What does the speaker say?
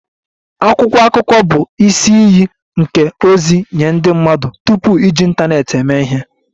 Akwụkwọ akụkọ bụ isi iyi nke ozi nye ndị mmadụ tupu iji ịntanetị eme ihe